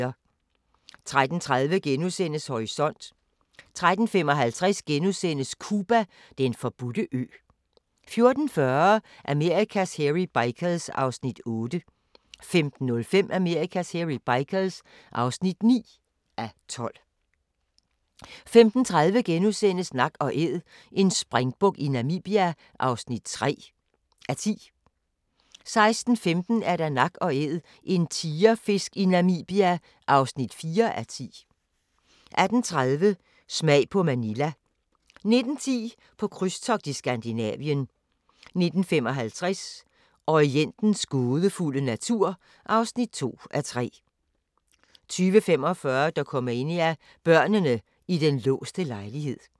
13:30: Horisont * 13:55: Cuba - den forbudte ø * 14:40: Amerikas Hairy Bikers (8:12) 15:05: Amerikas Hairy Bikers (9:12) 15:30: Nak & Æd – en springbuk i Namibia (3:10)* 16:15: Nak & Æd – en tigerfisk i Namibia (4:10) 18:30: Smag på Manila 19:10: På krydstogt i Skandinavien 19:55: Orientens gådefulde natur (2:3) 20:45: Dokumania: Børnene i den låste lejlighed